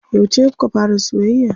Yauce kuka fara soyayya?